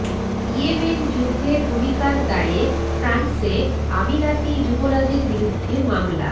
Yemen যুদ্ধে ভূমিকার দায়ে ফ্রান্সে আমিরাতি যুবরাজের বিরুদ্ধে মামলা